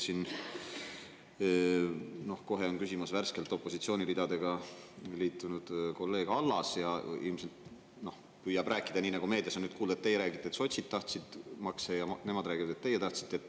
Siin kohe hakkab küsima värskelt opositsiooniridadega liitunud kolleeg Allas, kes ilmselt püüab rääkida nii, nagu meediast kuulda on: teie räägite, et sotsid tahtsid makse, ja nemad räägivad, et teie tahtsite.